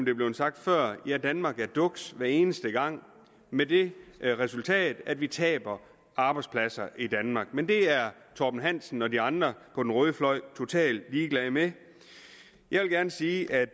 er blevet sagt før at danmark er duks hver eneste gang med det resultat at vi taber arbejdspladser i danmark men det er herre torben hansen og de andre på den røde fløj totalt ligeglade med jeg vil gerne sige at